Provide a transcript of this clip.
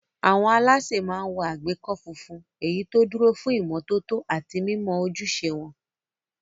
Àwọn alásè máa ń wọ àgbékọ́ funfun, èyí tó dúró fún ìmọ́tótó àti mímọ ojúṣe wọn.